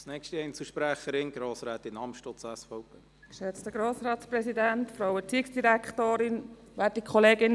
Ich unterstütze das und werde diese Massnahme ablehnen.